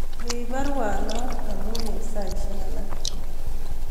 Rip baruanon amun en saisyek alak